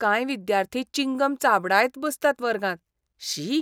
कांय विद्यार्थी चिंगम चाबडायत बसतात वर्गांत. शी!